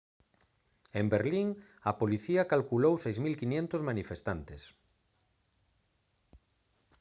en berlín a policía calculou 6500 manifestantes